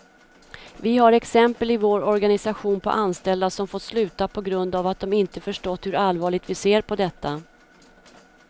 Vi har exempel i vår organisation på anställda som fått sluta på grund av att de inte förstått hur allvarligt vi ser på detta.